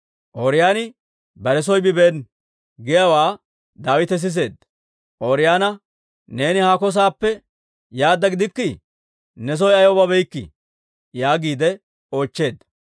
«Ooriyooni bare soo bibeena» giyaawaa Daawite siseedda; Ooriyoona, «Neeni haako saappe yaadda gidikkii? Ne soo ayaw babeykkii?» yaagiide oochcheedda.